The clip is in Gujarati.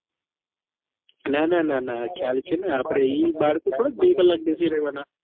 નાના નાના ખ્યાલ છે ને આપડે ઈ બાળકો થોડા બે કલાક બેસી રેવાના